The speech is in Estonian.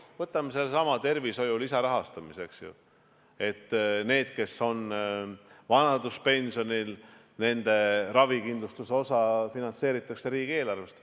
Võtame sellesama tervishoiu lisarahastamise: nende, kes on vanaduspensionil, ravikindlustuse osa finantseeritakse riigieelarvest.